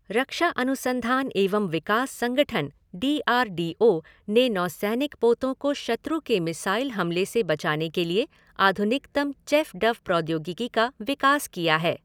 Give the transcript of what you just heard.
रक्षा अनुसंधान एवं विकास संगठन, डी आर डी ओ, ने नौसैनिक पोतों को शत्रु के मिसाइल हमले से बचाने के लिए आधुनिकतम चैफ़ डफ़ प्रौद्योगिकी का विकास किया है।